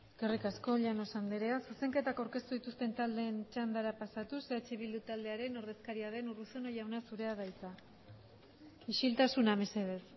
eskerrik asko llanos andrea zuzenketak aurkeztu dituzten taldeen txandara pasatuz eh bildu taldearen ordezkaria den urruzuno jauna zurea da hitza isiltasuna mesedez